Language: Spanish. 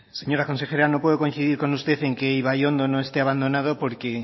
señora consejera no puedo coincidir con usted en que ibaiondo no esté abandonado porque